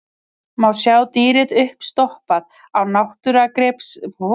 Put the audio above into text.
Má sjá dýrið uppstoppað á náttúrugripasafninu í borginni.